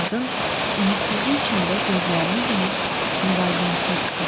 Qadın ümidsizlik içində gözlərini yumub müvazinətini itirdi.